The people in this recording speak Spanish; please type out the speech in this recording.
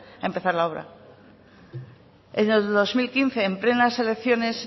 a empezar la obra en el dos mil quince en plenas elecciones